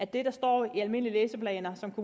det der står i almindelige læseplaner som